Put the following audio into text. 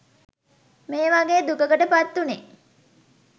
මේ වගේ් දුකකට පත්වුණේ.